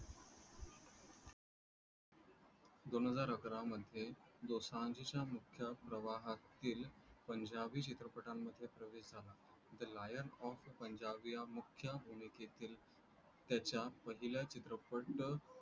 दोन हजार अकरा मध्ये दोसांझच्या मुख्य प्रवाहातील पंजाबी चित्रपटांमध्ये प्रवेश झाला thelion of पंजाबी या मुख्य भूमिकेतील त्याच्या पहिल्या चित्रपट